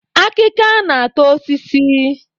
Akịka na-ata osisi